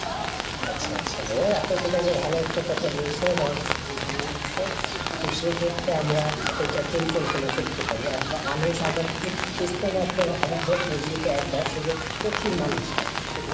ও আচ্ছা আচ্ছা, ভাইয়া আপনি কিন্তু একটা ভালো একটা কথা বলছেন ইটা আমার কাছে খুবই ভালো লাগছে , তবে সেক্ষেত্রে আমরা একটা পরিকল্পনা করতে পারি, আর মানুষ আমাদের ইজতেমা হয় বছরে যেহেতু একবার সেক্ষেত্রে প্রচুর মানুষ হয়